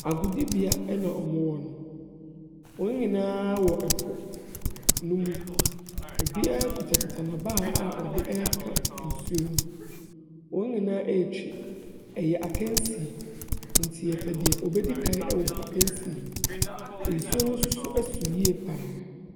Agodibea na wɔwɔ no. Wɔn nyinaa wɔ ɛpo no mu. Obiara kutakuta n'abaa a ɔde reka nsu no mu. Wɔn nyinaa retwi. Ɛyɛ akansie nti yɛpɛ nea obedi kan wɔ akansi no mu. Nsuo no nso so yie pa ara.